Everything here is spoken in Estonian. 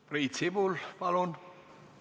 Priit Sibul, palun!